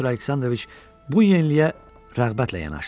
Pyotr Aleksandroviç bu yeniliyə rəğbətlə yanaşdı.